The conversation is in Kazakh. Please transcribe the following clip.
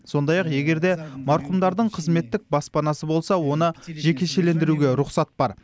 сондай ақ егер де марқұмдардың қызметтік баспанасы болса оны жекешелендіруге рұқсат бар